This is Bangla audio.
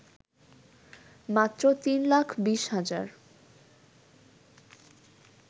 মাত্র ৩ লাখ ২০ হাজার